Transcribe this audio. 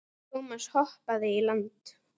Thomas hoppaði í land.